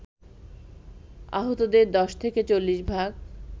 আহতদের ১০ থেকে ৪০ ভাগ